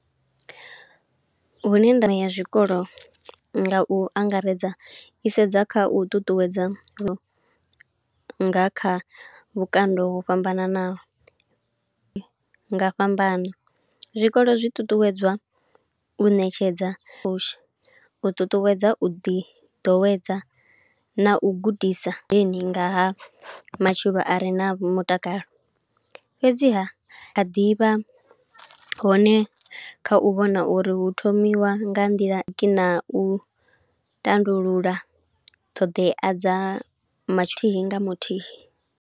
Hune ndavha ya zwikolo nga u angaredza, i sedza kha u ṱuṱuwedza nga kha vhukando ho fhambananaho, nga fhambano. Zwikolo zwi ṱuṱuwedzwa u ṋetshedza u posha, u ṱuṱuwedza u ḓi ḓowedza na u gudisa heni ngaha matshilo are na mutakalo. Fhedziha kha ḓivha hone kha u vhona uri hu thomiwa nga nḓila kina u tandulula ṱhoḓea dza mathihi nga muthihi.